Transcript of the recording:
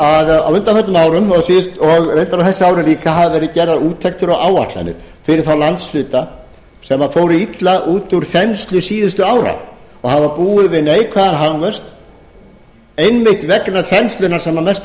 að á undanförnum árum og reyndar á þessu ári líka hafa verið gerðar úttektir og áætlanir fyrir þá landshluta sem fóru illa út úr þenslu síðustu ára og hafa búið við neikvæðan hagvöxt einmitt vegna þenslunnar sem að mestu